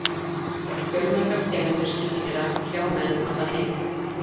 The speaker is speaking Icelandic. Fjölmargar tegundir sníkjudýra hrjá menn um allan heim.